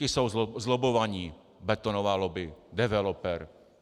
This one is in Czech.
Ti jsou zlobbovaní, betonová lobby, developer.